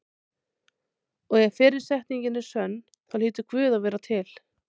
Og ef fyrri setningin er sönn þá hlýtur Guð að vera til.